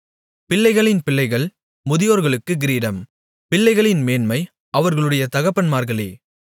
பிள்ளைகளின் பிள்ளைகள் முதியோர்களுக்குக் கிரீடம் பிள்ளைகளின் மேன்மை அவர்களுடைய தகப்பன்மார்களே